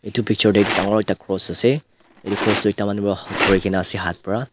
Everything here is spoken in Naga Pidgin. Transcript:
edu picture tae ekta dangor ekta cross ase edu cross ekta manu pa dhurikae na ase hat pa.